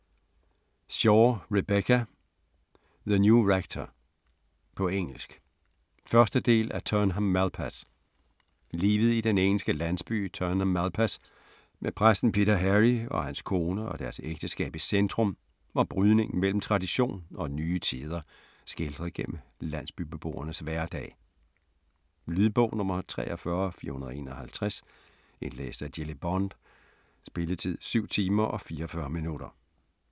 Shaw, Rebecca: The new rector På engelsk. 1. del af Turnham Malpas. Livet i den engelske landsby Turnham Malpas, med præsten Peter Harris og hans kone og deres ægteskab i centrum, og brydningen mellem tradition og nye tider skildret gennem landsbybeboernes hverdag. Lydbog 43451 Indlæst af Jilly Bond Spilletid: 7 timer, 44 minutter.